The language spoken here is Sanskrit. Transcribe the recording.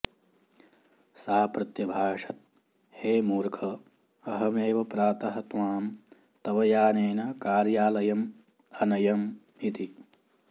सा प्रत्यभाषत् हे मूर्ख अहमेव प्रातः त्वां तव यानेन कार्यालयम् अनयम् इति